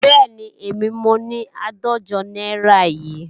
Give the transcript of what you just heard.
Bẹ́ẹ̀ni, èmi mo ni àádọ́jọ náírà yìí.